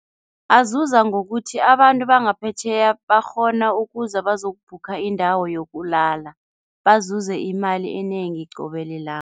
Azuza ngokuthi abantu bangaphetjheya bakghona ukuza bazokubhukha indawo yokulala, bazuza imali enengi qobe